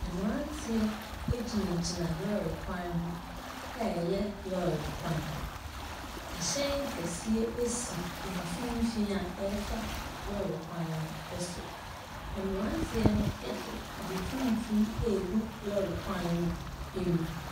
Mmranteɛ agyinagyina lɔre kwan ho ɛyɛ lɔre kwan. Ɛhyɛn kɛseɛ asi mfimfini a ɛfa lɔre kwan no ɛso. Mmranteɛ no ɛde ade tumtum agu lɔre kwan no amu.